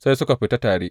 Sai suka tafi tare.